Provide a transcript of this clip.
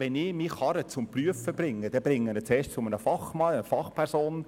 Wenn ich meine Karre prüfen muss, bringe ich sie zuerst zu einem Fachmann.